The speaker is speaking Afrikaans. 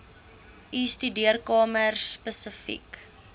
u studeerkamer spesifiek